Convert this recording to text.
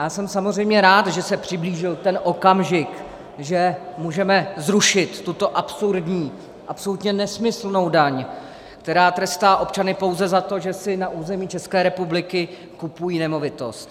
Já jsem samozřejmě rád, že se přiblížil ten okamžik, že můžeme zrušit tuto absurdní, absolutně nesmyslnou daň, která trestá občany pouze za to, že si na území České republiky kupují nemovitost.